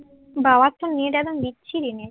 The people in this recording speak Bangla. বাবার তো নেট একদম বিচ্ছিরি নেট